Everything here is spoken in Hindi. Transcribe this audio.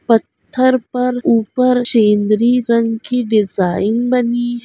पत्थर पर ऊपर सेन्द्री रंग की डिज़ाइन बनी --